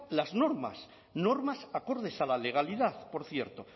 las normas normas acordes a la legalidad por cierto